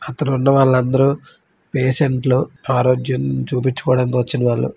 అక్కడ ఉన్న వాళ్ళు అందరూ పేషెంట్లు . ఆరోగ్యం చూపించుకోడానికి వచ్చిన వాళ్ళు.